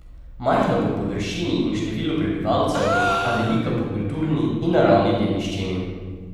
Majhna po površini in številu prebivalcev, a velika po kulturni in naravni dediščini.